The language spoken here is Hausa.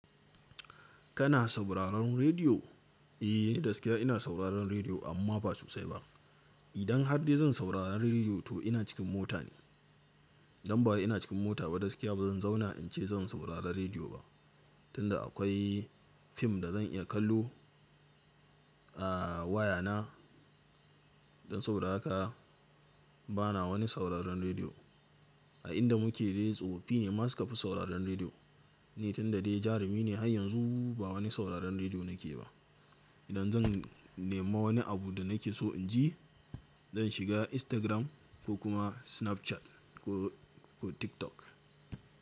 Kana sauraron rediyo? Eh, daskiya ina sauraron rediyo amma ba sosai ba. Idan har dai zan saurari rediyo to ina cikin mota ne. Dan bawai ina cikin mota ba, daskiya ba zan zauna in ce zan saurare rediyo ba. Tunda akwai fim da zan iya kallo a waya na. Dan saboda haka bana wani sauraren rediyo A inda muke dai tsofaffifi ne ma su ka fi sauraron rediyo. Ni tun da dai jarumi ne, har yanzu ba wani sauraron rediyo nake ba. Idan zan nema wani abu da nake so in ji, zan shiga Instagram ko kuma Snapchat ko, ko TikTok.